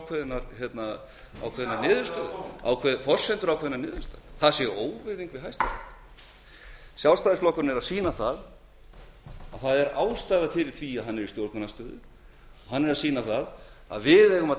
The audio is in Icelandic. um það að menn komi hér og ræði forsendur ákveðinnar niðurstöðu það sé óvirðing við hæstarétt sjálfstæðisflokkurinn er að sýna að það er ástæða fyrir því að hann er í stjórnarandstöðu og hann er að sýna að við eigum að